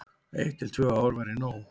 Eitt til tvö ár væri nóg.